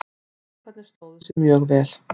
Strákarnir stóðu sig mjög vel.